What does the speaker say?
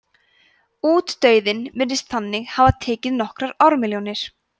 útdauðinn virðist þannig hafa tekið nokkrar ármilljónir